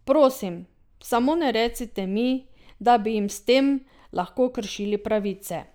Prosim, samo ne recite mi, da bi jim s tem lahko kršili pravice!